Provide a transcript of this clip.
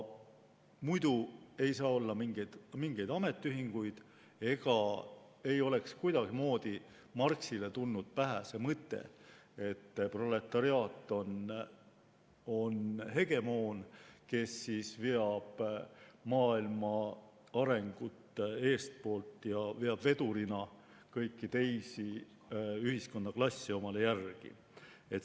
Muidu ei saa olla mingeid ametiühinguid ega oleks kuidagimoodi Marxile tulnud pähe mõte, et proletariaat on hegemoon, kes veab maailma arengut eestpoolt, veab vedurina kõiki teisi ühiskonnaklasse omale järgi.